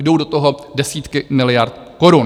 Jdou do toho desítky miliard korun.